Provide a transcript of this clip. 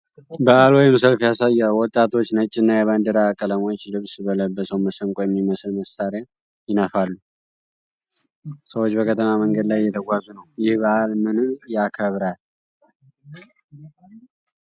በዓል ወይም ሰልፍ ያሳያል። ወጣቶች ነጭና የባንዲራ ቀለሞች ልብስ ለብሰው መሰንቆ የሚመስል መሣሪያ ይነፋሉ። ሰዎች በከተማ መንገድ ላይ እየተጓዙ ነው። ይህ በዓል ምንን ያከብራል?